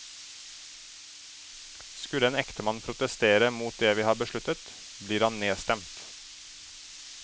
Skulle en ektemann protestere mot det vi har besluttet, blir han nedstemt.